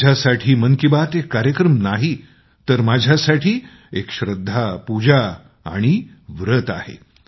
माझ्यासाठी मन की बात एक कार्यक्रम नाही तर माझ्यासाठी एक श्रद्धा पूजा आणि व्रत आहे